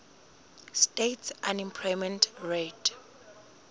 states unemployment rate